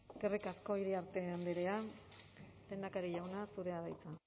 eskerrik asko iriarte andrea lehendakari jauna zurea da hitza